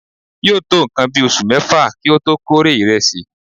yóò tó nǹkan bí oṣù mẹ́fà kí ó tó kórè ìrẹsì.